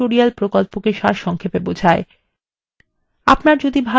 এটি কথ্য tutorial প্রকল্পকে সারসংক্ষেপে বোঝায়